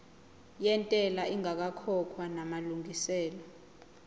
yentela ingakakhokhwa namalungiselo